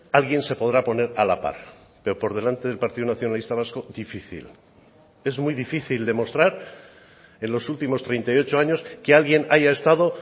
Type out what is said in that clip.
alguien se podrá poner a la par pero por delante del partido nacionalista vasco difícil es muy difícil demostrar en los últimos treinta y ocho años que alguien haya estado